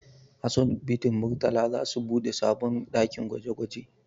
Asibitin Murtala za su buɗe sabon ɗakin gwaje gwaje